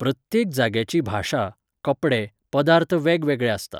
प्रत्येक जाग्याची भाशा, कपडे, पदार्थ वेगवेगळे आसता.